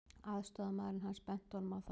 Aðstoðarmaðurinn hans benti honum á það.